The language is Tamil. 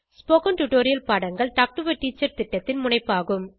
ஸ்போகன் டுடோரியல் பாடங்கள் டாக் டு எ டீச்சர் திட்டத்தின் முனைப்பாகும்